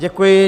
Děkuji.